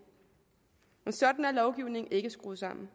men sådan er lovgivningen ikke skruet sammen